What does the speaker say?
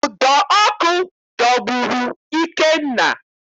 Ụdọ ọkụ dọgburu Ikenna